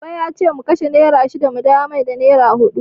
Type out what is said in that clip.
Baba yace mu kashe nera shida mu dawo masa da nera huɗu.